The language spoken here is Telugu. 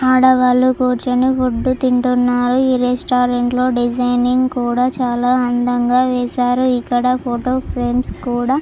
ఆడవాళ్లు కూర్చుని ఫుడ్ తింటున్నారు ఈ రెస్టారెంట్లో డిజైనింగ్ కూడా చాలా అందంగా వేశారు ఇక్కడ ఫోటో ఫ్రేమ్స్ కూడా --